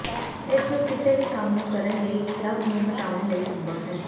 ਇਸ ਨੂੰ ਕਿਸੇ ਵੀ ਕੰਮ ਨੂੰ ਕਰਨ ਲਈ ਕਲੱਬ ਨੂੰ ਹਟਾਉਣ ਲਈ ਸੰਭਵ ਹੈ